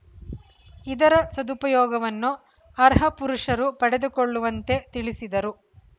ಇದರ ಸದುಪಯೋಗವನ್ನು ಅರ್ಹ ಪುರುಷರು ಪಡೆದುಕೊಳ್ಳುವಂತೆ ತಿಳಿಸಿದರು